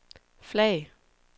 flag